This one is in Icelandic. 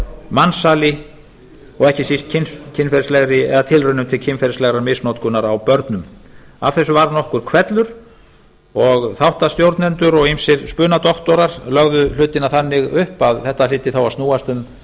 mansali og ekki síst tilraunum til kynferðislegrar misnotkunar á börnum af þessu varð nokkur hvellur og þáttastjórnendur og ýmsir spunadoktorar lögðu hlutina þannig upp að þetta hlyti þá að snúast um